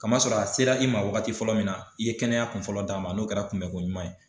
Kamasɔrɔ a sera i ma wagati fɔlɔ min na i ye kɛnɛya kun fɔlɔ d'a ma n'o kɛra kunbɛko ɲuman ye.